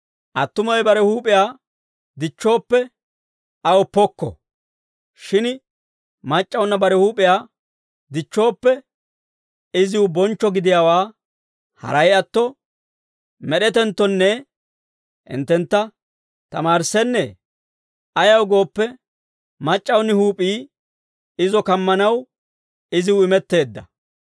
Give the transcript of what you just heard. Attumawe bare huup'iyaa dichchooppe, aw pokko. Shin mac'c'awunna bare huup'iyaa dichchooppe, iziw bonchcho gidiyaawaa haray atto, med'etenttonne hinttentta tamaarissennee? Ayaw gooppe, mac'c'awuni huup'ii izo kammanaw iziw imetteedda.